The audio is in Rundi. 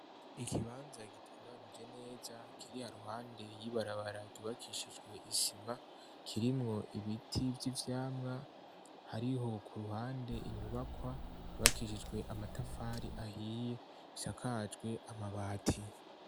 Ikibanza gitunganije neza kiri iruhande y'ibarabara ryubakishijwe isima, kirimwo ibiti vy'ivyamwa. Hariho ku ruhande inyubakwa yubakishijwe amatafari ahiye isakajwe amabati.